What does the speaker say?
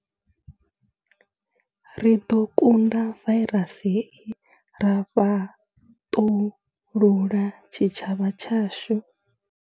Ri ḓo kunda vairasi hei ra fhaṱulula tshitshavha tshashu.